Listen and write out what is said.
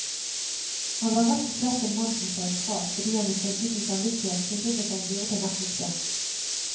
Han var rett og slett en mann som sa ifra, fordi han ifølge sin samvittighet syntes han burde nettopp det.